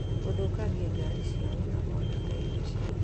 Gũthũkangia ngari ciao na kwananga indo ciao